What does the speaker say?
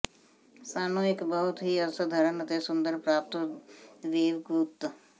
ਸਾਨੂੰ ਇੱਕ ਬਹੁਤ ਹੀ ਅਸਾਧਾਰਨ ਅਤੇ ਸੁੰਦਰ ਪ੍ਰਾਪਤ ਵੇਵ ਗੁੱਤ